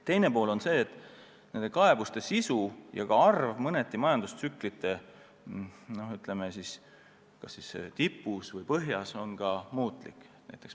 Teine tegur on see, et kaebuste sisu ja arv on majandustsüklite tipus ja põhjas erinev.